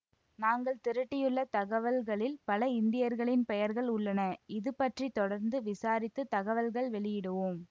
நாங்கள் திரட்டியுள்ள தகவல்களில் பல இந்தியர்களின் பெயர்கள் உள்ளன இது பற்றி தொடர்ந்து விசாரித்து தகவல்கள் வெளியிடுவோம்